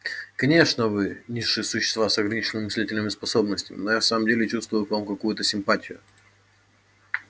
конечно вы низшие существа с ограниченными мыслительными способностями но я в самом деле чувствую к вам какую-то симпатию